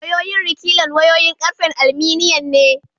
Wayoyin rekilan wayoyin ƙarfen alminiyan ne.